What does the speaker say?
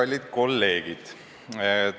Kallid kolleegid!